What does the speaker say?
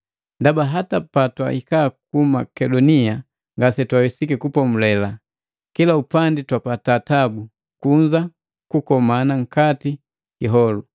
Ndaba hata patwahika ku Makedonia ngasetwawesiki kupomulela. Kila upandi twapata tabu, kunza kukomana nkati kiholu.